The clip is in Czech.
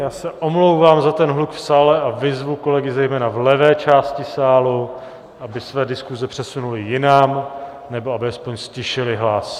Já se omlouvám za ten hluk v sále a vyzvu kolegy zejména v levé části sálu, aby své diskuse přesunuli jinam nebo aby alespoň ztišili hlas.